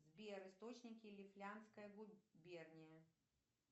сбер источники лифляндская губерния